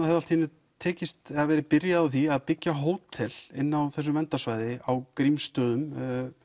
hafði allt í einu tekist eða verið byrjað á því að byggja hótel inn á þessu verndarsvæði á Grímsstöðum